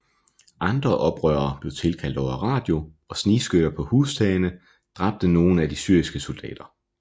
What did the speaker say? Andre oprørere blev tilkaldt over radio og snigskytter på hustagene dræbte nogen af de syriske soldater